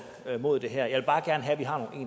mod det her jeg vil bare gerne have